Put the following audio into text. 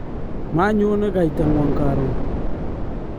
manyone kaitang'wong' karon